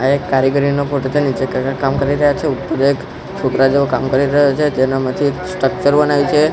આ એક કારીગરીનો ફોટો છે નીચે કાકા કામ કરી રહ્યા છે ઉપર એક છોકરા જેવો કામ કરી રહ્યો છે તેનામાંથી એક સ્ટ્રક્ચર બને છે.